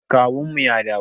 Kawunmu ya dawo.